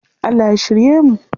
Allah ya shirye mu.